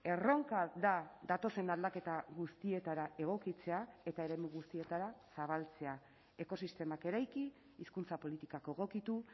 erronka da datozen aldaketa guztietara egokitzea eta eremu guztietara zabaltzea ekosistemak eraiki hizkuntza politikako egokitu